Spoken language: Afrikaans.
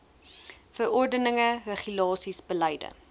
verordeninge regulasies beleide